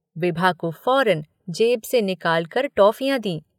विभा को फ़ौरन जेब से निकालकर टॉफ़ियाँ दीं।